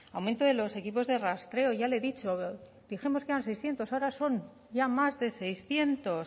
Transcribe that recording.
aumento de los equipos de rastreo y ya le he dicho dijimos que eran seiscientos ahora son ya más de seiscientos